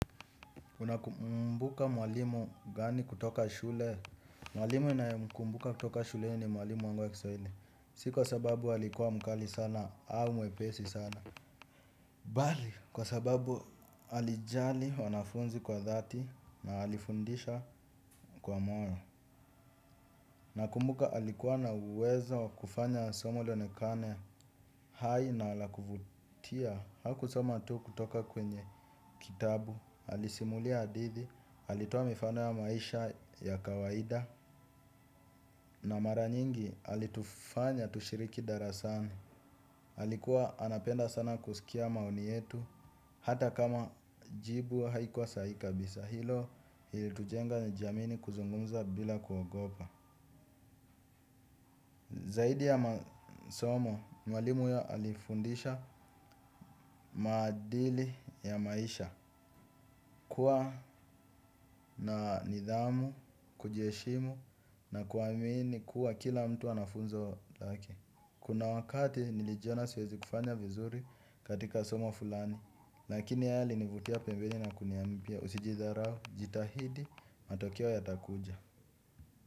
Unakumbuka mwalimu gani kutoka shule. Mwalimu ninayekumbuka kutoka shuleni ni mwalimu wangu wa kiswahili. Si kwa sababu alikuwa mkali sana au mwepesi sana bali kwa sababu alijali wanafunzi kwa dhati na alifundisha kwa moyo. Nakumbuka alikuwa na uwezo wa kufanya somo lionekane hai na la kuvutia. Hakusoma tu kutoka kwenye kitabu alisimulia hadithi, alitua mifano ya maisha ya kawaida. Na mara nyingi alitufanya tushiriki darasani alikuwa anapenda sana kusikia maoni yetu. Hata kama jibu haikuwa sahihi kabisa. Hilo ilitujenga nijiamini kuzungumza bila kuogopa. Zaidi ya masomo, mwalimu ya alifundisha maadili ya maisha. Kuwa na nidhamu, kujiheshimu na kuamini kuwa kila mtu ana funzo laki. Kuna wakati nilijiona siwezi kufanya vizuri katika somo fulani. Lakini yeye alinivutia pembeni na kuniambia usijidhara jitahidi matokeo yatakuja.